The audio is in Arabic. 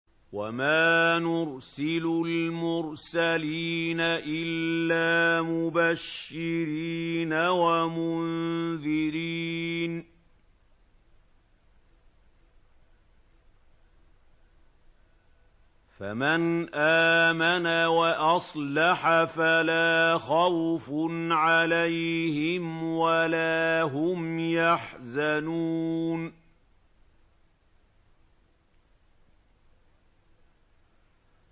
وَمَا نُرْسِلُ الْمُرْسَلِينَ إِلَّا مُبَشِّرِينَ وَمُنذِرِينَ ۖ فَمَنْ آمَنَ وَأَصْلَحَ فَلَا خَوْفٌ عَلَيْهِمْ وَلَا هُمْ يَحْزَنُونَ